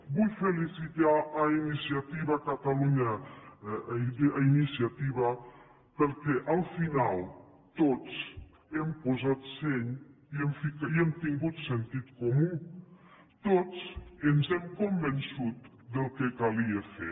vull felicitar iniciativa per catalunya perquè al final tots hem posat seny i hem tingut sentit comú tots ens hem convençut del que calia fer